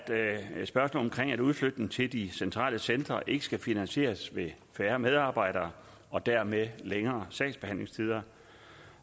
udflytningen til de centrale centre ikke skal finansieres ved færre medarbejdere og dermed længere sagsbehandlingstider